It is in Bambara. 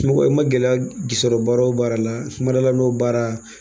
Mɔgɔ i ma gɛlɛya sɔrɔ baara o baara la n ma ma dal'a n'o baara